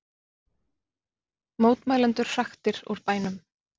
Mótmælendur hraktir úr bænum